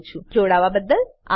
જોડાવાબદ્દલ આભાર